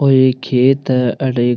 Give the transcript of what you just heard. वो एक खेत है अठे एक --